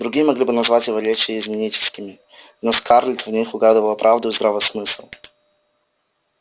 другие могли бы назвать его речи изменническими но скарлетт в них угадывала правду и здравый смысл